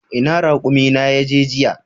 Ina raƙumi na ya je jiya?